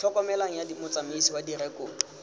tlhokomelong ya motsamaisi wa direkoto